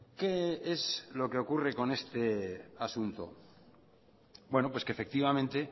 qué es lo que ocurre con este asunto pues que efectivamente